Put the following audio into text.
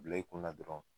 Bila i kunna dɔrɔn